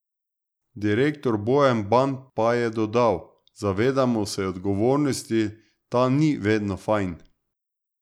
Direktor Bojan Ban pa je dodal: "Zavedamo se odgovornosti, ta ni vedno 'fajn'.